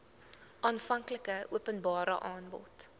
aanvanklike openbare aanbod